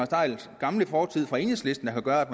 theils gamle fortid fra enhedslisten der gør at